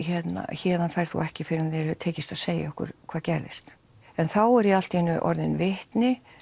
héðan ferð þú ekki fyrr en þér hefur tekist að segja okkur hvað gerðist en þá er ég allt í einu orðin vitni